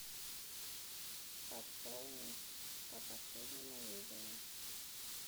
пополни по последнему вызову